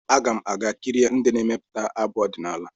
Aga m aga kirie ndị na-emepụta abụ ọdịnala.